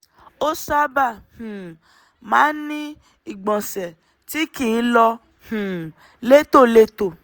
ó sábà um máa ń ní ìgbọ̀nsẹ̀ tí kìí lọ um létòlétò